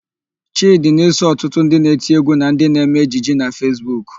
Chịdị na-eso ọtụtụ ndị na-eti égwú na ndị na-eme ejije na Fesbuk.